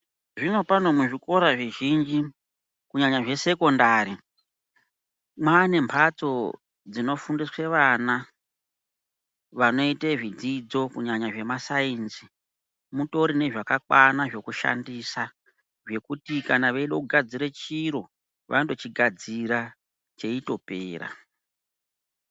Zvino pano muzvikora zvizhinji kunyanya zvesekondari, maane mhatso dzinofundiswe vana vanoite zvidzidzo kunyanya zvemasainzi, mutori nezvakakwana zvekushandisa zvekuti kana veide kugadzire chiro vanotochigadzira cheitopera.